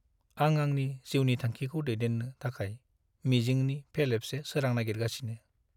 आं आंनि जिउनि थांखिखौ दैदेन्नो थाखाय मिजिंनि फेरलेबसे सोरां नागिरगासिनो।